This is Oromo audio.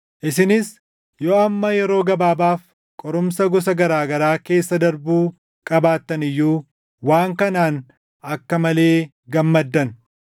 Isinis yoo amma yeroo gabaabaaf qorumsa gosa garaa garaa keessa darbuu qabaattan iyyuu waan kanaan akka malee gammaddan.